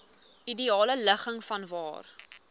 ideale ligging vanwaar